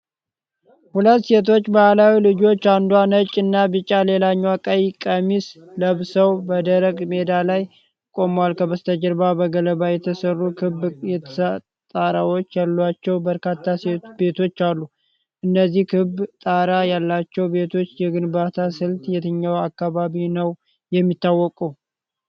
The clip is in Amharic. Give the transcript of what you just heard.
ሁለት ሴቶች ባህላዊ ልብሶች (አንዷ ነጭና ቢጫ፣ ሌላኛዋ ቀይ ቀሚስ) ለብሰው በደረቅ ሜዳ ላይ ቆመዋል። ከበስተጀርባ በገለባ የተሰሩ ክብ ጣራዎች ያሏቸው በርካታ ቤቶች አሉ። እነዚህ ክብ ጣራ ያላቸው ቤቶች የግንባታ ስልት የትኛው አካባቢ ነው የሚታወቀው?